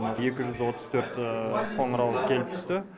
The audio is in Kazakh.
екі жүз отыз төрт қоңырау келіп түсті